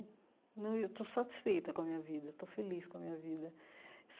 Não eu estou satisfeita com a minha vida, estou feliz com a minha vida.